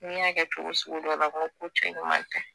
N'i y'a kɛ cogo sugu dɔ la ko cɛ ɲuman tɛ